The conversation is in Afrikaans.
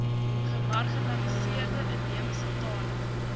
gemarginaliseerde inheemse tale